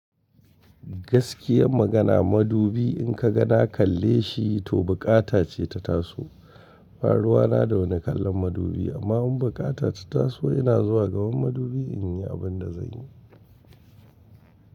Gaskiyan magana madubi in ka ga na kalle shi to buƙata ce ta taso. Baruwana da wani kalan madubi amma bukata ta taso ina zuwa gaban madubi in yi abin da zan yi.